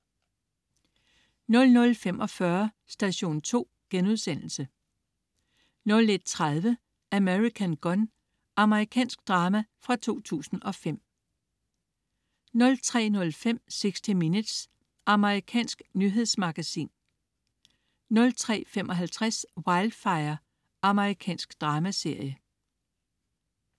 00.45 Station 2* 01.30 American Gun. Amerikansk drama fra 2005 03.05 60 Minutes. Amerikansk nyhedsmagasin 03.55 Wildfire. Amerikansk dramaserie